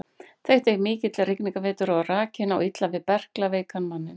Þetta er mikill rigningarvetur og rakinn á illa við berklaveikan manninn.